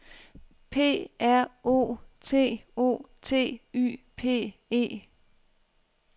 P R O T O T Y P E